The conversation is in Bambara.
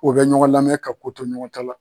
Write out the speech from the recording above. U bɛ ɲɔgɔn lamɛn ka ko to ɲɔgɔn ta la.